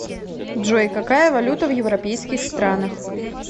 джой какая валюта в европейских странах